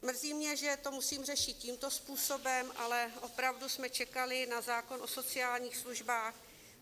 Mrzí mě, že to musím řešit tímto způsobem, ale opravdu jsme čekali na zákon o sociálních službách.